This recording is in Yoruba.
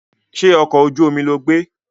Ṣé ọkọ̀ ojú omi lo gbé?